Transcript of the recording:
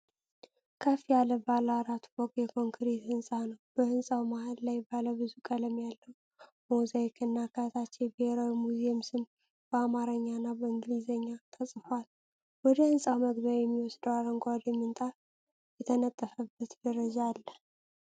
ከፍ ያለ ባለ አራት ፎቅ የኮንክሪት ህንጻ ነው። በህንፃው መሃል ላይ ባለ ብዙ ቀለም ያለው ሞዛይክ እና ከታች የብሔራዊ ሙዚየም ስም በአማርኛ እና በእንግሊዝኛ ተጽፏል። ወደ ሕንጻው መግቢያ የሚወስድ አረንጓዴ ምንጣፍ የተነጠፈበት ደረጃ አለ።